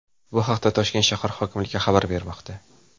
Bu haqda Toshkent shahar hokimligi xabar bermoqda .